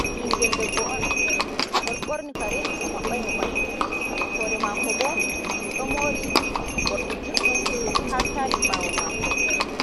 Ɗum ɓingel debbo'on oɗo ɓorni kare ɗum mabɓaimo ɓandu, hoore mako bo ɗum ɗo moori morɗi judɗum ha sali ɓawo mako.